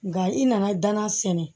Nka i nana danna sɛnɛ